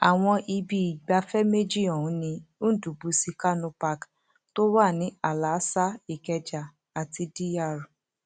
àwọn ibi ìgbafẹ méjì ọhún ni ndubuisi kanu park tó wà ní àlàáṣá ìkẹjà àti dr